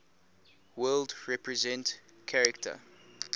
world represent character